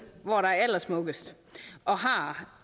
hvor der er allersmukkest og har